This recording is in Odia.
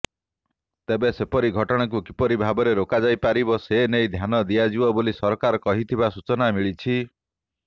ତେବେ ସେପରି ଘଟଣାକୁ କିପରି ଭାବରେ ରୋକାଯାଇପାରିବ ସେନେଇ ଧ୍ୟାନ ଦିଆଯିବ ବୋଲି ସରକାର କହିଥିବା ସୂଚନା ମିଳିଛି